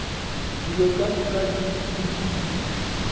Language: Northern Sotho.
dilo ka moka di lokile